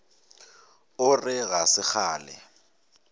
o re ga se kgale